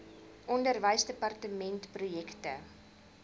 onderwysdepartementprojekte